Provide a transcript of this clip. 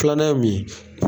Filan ye min.